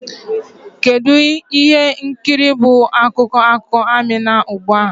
Kedu ụlọ ihe nkiri bụ akụkọ akụkọ Amina ugbu a?